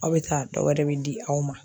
Aw be taa dɔ wɛrɛ be di aw ma